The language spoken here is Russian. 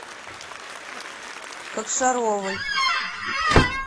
кокшаровой